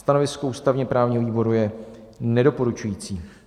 Stanovisko ústavně-právního výboru je nedoporučující.